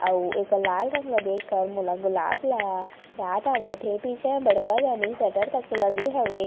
और एकर लाल रंग ला देख के मोला गुलाब ला याद आवत हे पीछे बड़का दानी शटर तक लगे हवे।